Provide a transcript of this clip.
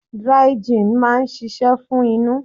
Dry gin máa ń ṣíṣe fún inú.